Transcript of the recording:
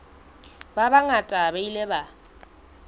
ba bangata ba ile ba